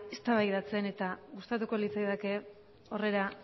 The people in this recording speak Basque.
eztabaidatzen eta gustatuko litzaidake horri